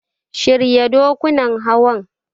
Shirya dokunan Hawan.